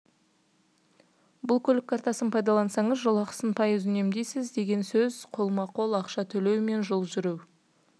бұл көлік картасын пайдаланасаңыз жолақысын пайыз үнемдейсіз деген сөз қолма-қол ақша төлеу мен жол жүру